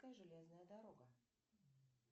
железная дорога